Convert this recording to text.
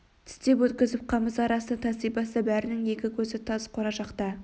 тістеп өткізіп қамыс арасына таси баста- бәрінің екі көзі тас кора жақта